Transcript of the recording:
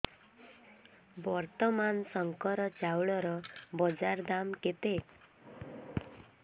ବର୍ତ୍ତମାନ ଶଙ୍କର ଚାଉଳର ବଜାର ଦାମ୍ କେତେ